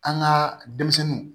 An ka denmisɛnninw